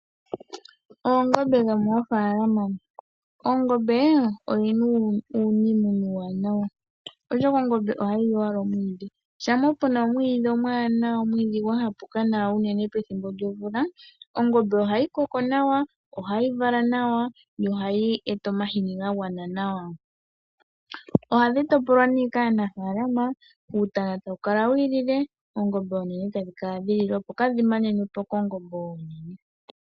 Oongombe dhomoofalama. Oongombe oyina iinima oyindji iiwanawa ,oshoka ongombe oha yili owala omwiidhi shampa pe na omwiidhi omwaanawa omwiidhi gwa tsapuka nawa unene pethimbo lyomvula ongombe o ha yi koko nawa, oha yi vala nawa yo ohayi eta omahini ga gwana nawa. Ohadhi topolwa nee kaanafaalama uutana ta wu ikalekelwa ,oongombe oonene ta dhi kala dhi ikalekelwa.